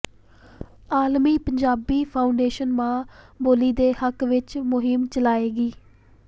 ਆਲਮੀ ਪੰਜਾਬੀ ਫਾਊਂਡੇਸ਼ਨ ਮਾਂ ਬੋਲੀ ਦੇ ਹੱਕ ਵਿੱਚ ਮੁਹਿੰਮ ਚਲਾਏਗੀ